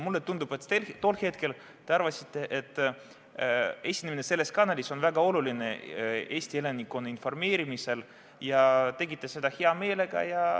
Mulle tundub, et tol hetkel te arvasite, et esinemine selles kanalis on väga oluline Eesti elanikkonna informeerimiseks, ja tegite seda hea meelega.